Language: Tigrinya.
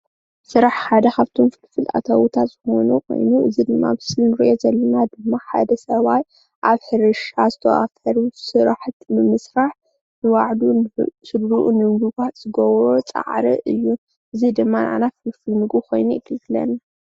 ስራሕ ሓደ ካብቶም ፍልፍል ኣታዊታት ዝኾኑ ኮይኑ እዚ ድማ ኣብዚ ምስሊ ንርእዮ ዘለና ድማ ሓደ ሰብኣይ ኣብ ሕርሻ ዝተዋፈሩ ስራሓቲ ንምስራሕ ንባዕሉን ንስድርኡን ንምምጋብ ዝገብሮ ፃዕሪ እዩ። እዚ ድማ ናዓና ፍልፍል ምግቢ ኮይኑ የገልግለና።